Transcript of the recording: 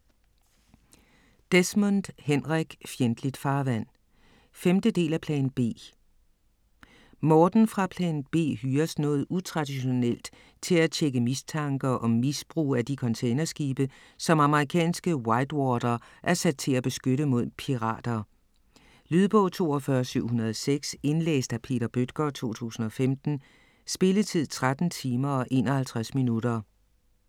Desmond, Henrik: Fjendtligt farvand 5. del af Plan B. Morten fra Plan B hyres noget utraditionelt til at tjekke mistanker om misbrug af de containerskibe, som amerikanske Whitewater er sat til at beskytte mod pirater. Lydbog 42706 Indlæst af Peter Bøttger, 2015. Spilletid: 13 timer, 51 minutter.